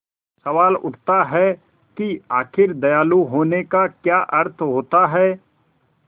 सवाल उठता है कि आखिर दयालु होने का क्या अर्थ होता है